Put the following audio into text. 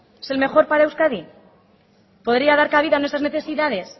es el mejor para euskadi podría dar cabida a nuestras necesidades